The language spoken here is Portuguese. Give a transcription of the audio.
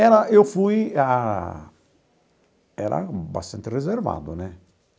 Era, eu fui a... Era bastante reservado, né?